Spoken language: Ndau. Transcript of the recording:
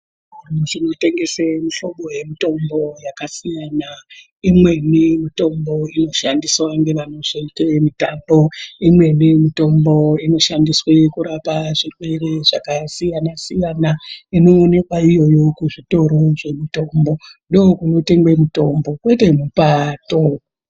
Zvinotengese mihlobo nemihlobo yakasiyana-siyana. Imweni mitombo inoshandiswa ngevanozoite mitambo, imweni mitombo inoshandiswe kurapa zvirwere zvakasiyana-siyana.,Inoonekwa iyoyo kuzvitoro zvemitombo. Ndokunotengwe mitombo ,kwete mupaato.